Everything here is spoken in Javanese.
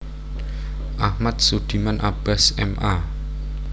Ahmad Sudiman Abbas M A